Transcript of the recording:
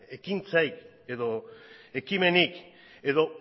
ekintzarik edo ekimenik edo